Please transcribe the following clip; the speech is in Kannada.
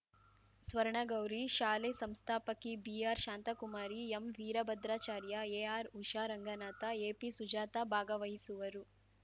ಸ್ವರ್ಣಗೌರಿ ಶಾಲೆ ಸಂಸ್ಥಾಪಕಿ ಬಿಆರ್‌ಶಾಂತಕುಮಾರಿ ಎಂವೀರಭದ್ರಾಚಾರ್ಯ ಎಆರ್‌ಉಷಾ ರಂಗನಾಥ ಎಪಿಸುಜಾತ ಭಾಗವಹಿಸುವರು